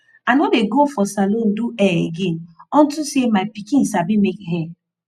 i no dey go for salon do hair again unto say my pikin sabi make hair